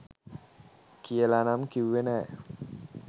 කියලා නම් කිව්වේ නැහැ.